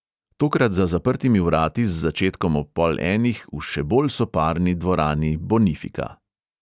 Tokrat za zaprtimi vrati z začetkom ob pol enih v še bolj soparni dvorani bonifika.